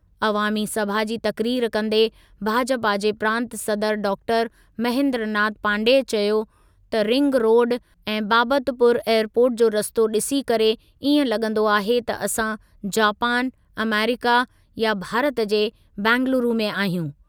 अवामी सभा जी तक़रीर कंदे भाजपा जे प्रांतु सदर डॉक्टर महेन्द्रनाथ पाण्डेय चयो त रिंग रोडु ऐं बाबतपुर एयरपोर्ट जो रस्तो ॾिसी करे इएं लॻंदो आहे त असां जापान, अमेरिका या भारत जे बंगलुरू में आहियूं।